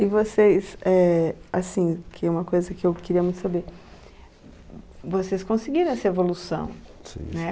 E vocês, éh, assim, que é uma coisa que eu queria muito saber, vocês conseguiram essa evolução, né?